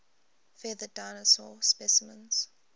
feathered dinosaur specimens